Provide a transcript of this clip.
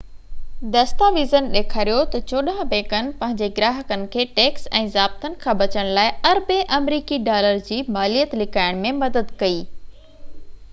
دستاويزن ڏيکاريو تہ چوڏانهن بئنڪن پنهنجي گراهڪن کي ٽيڪس ۽ ضابطن کان بچڻ لاءِ اربين آمريڪي ڊالر جي ماليت لڪائڻ ۾ مدد ڪئي